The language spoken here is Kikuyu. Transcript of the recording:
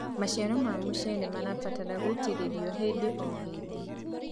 maciaro ma mucere marabatara gũitiririo hĩndĩ o hĩndĩ